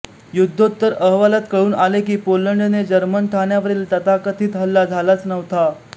युद्धोत्तर अहवालात कळून आले की पोलंडने जर्मन ठाण्यावरील तथाकथित हल्ला झालाच नव्हता